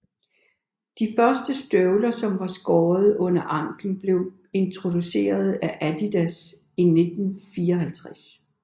De første støvler som var skåret under anklen blev introduceret af Adidas i 1954